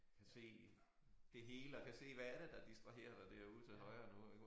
Kan se det hele og kan se hvad er det der distraherer dig derude ude til højre nu ik og